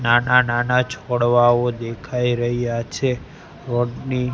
નાના નાના છોડવાઓ દેખાઈ રહ્યા છે રોડ ની--